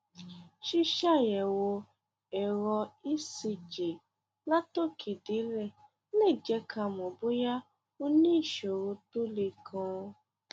ṣíṣàyẹwò ẹrọ ecg látòkèdélẹ lè jẹ ká mọ bóyá o ní ìṣòro tó le ganan